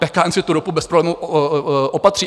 PKN si tu ropu bez problémů opatří.